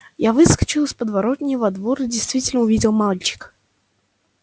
я выскочил из подворотни во двор и действительно увидел мальчика